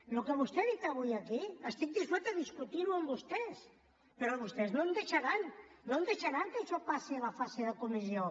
el que vostè ha dit avui aquí estic disposat a discutirho amb vostès però vostès no em deixaran no em deixaran que això passi a la fase de comissió